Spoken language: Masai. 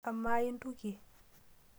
Amaa intuke?